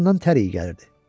Atasından tər iyi gəlirdi.